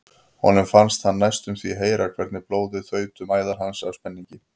Honum fannst hann næstum því heyra hvernig blóðið þaut um æðar hans af spenningi.